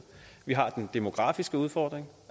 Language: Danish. vi har den demografiske udfordring